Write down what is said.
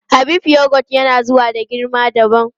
Habib yogot yana zuwa da girma dabam.